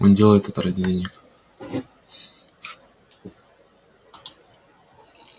он делает это ради денег